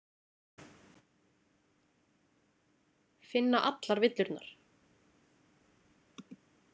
Finna allar villurnar.